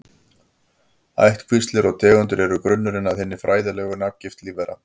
Ættkvíslir og tegundir eru grunnurinn að hinni fræðilegu nafngift lífvera.